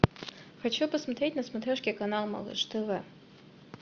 хочу посмотреть на смотрешке канал малыш тв